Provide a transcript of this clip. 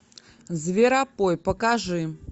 зверопой покажи